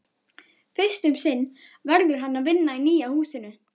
Fyrst um sinn verður hann að vinna í nýja húsinu.